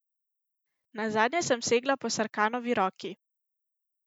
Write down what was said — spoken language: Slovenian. Nazadnje sem segla po Sarkanovi roki.